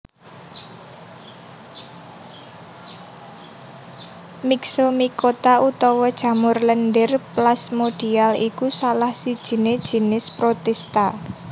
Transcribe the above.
Myxomicota utawa jamur lendhir plasmodial iku salah sijiné jinis protista